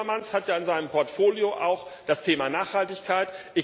Frans Timmermans hat ja in seinem Portfolio auch das Thema Nachhaltigkeit.